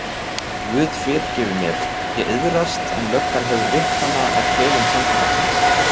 Guð fyrirgefur mér, ég iðrast en löggan hefur lyklana að klefum samfélagsins.